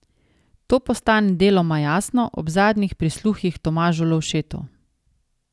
To postane deloma jasno ob zadnjih prisluhih Tomažu Lovšetu.